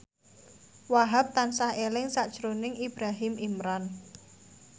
Wahhab tansah eling sakjroning Ibrahim Imran